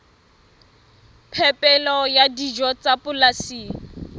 phepelo ya dijo tsa polasing